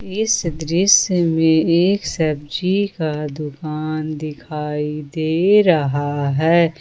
इस दृश्य में एक सब्जी का दुकान दिखाई दे रहा है।